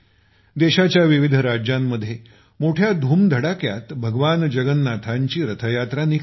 देशाच्या विविध राज्यांमध्ये मोठ्या धुमधडाक्यात भगवान जगन्नाथांची रथयात्रा निघते